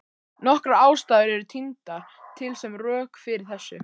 Nokkrar ástæður eru tíndar til sem rök fyrir þessu.